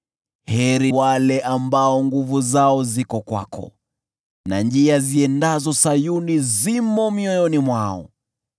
Heri wale ambao nguvu zao ziko kwako, na njia ziendazo Sayuni zimo mioyoni mwao.